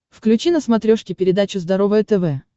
включи на смотрешке передачу здоровое тв